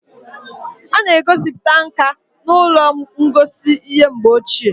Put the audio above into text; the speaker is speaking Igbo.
A na-egosiputa nka n'ụlọ ngosi ihe mgbe ochie